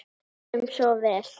Við enduðum svo vel.